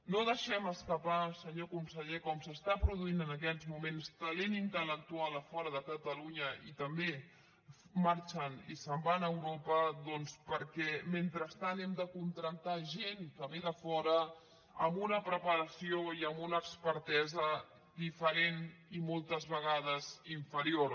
no deixem escapar senyor conseller com s’està produint en aquests moments talent intel·lectual a fora de catalunya i també marxen i se’n van a europa perquè mentrestant hem de contractar gent que ve de fora amb una preparació i amb una expertesa diferent i moltes vegades inferior